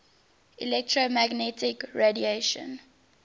electromagnetic radiation